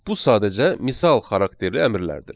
Bu sadəcə misal xarakterli əmrlərdir.